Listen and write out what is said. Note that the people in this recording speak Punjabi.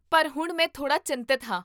ਪਰ ਹੁਣ ਮੈਂ ਥੋੜ੍ਹਾ ਚਿੰਤਤ ਹਾਂ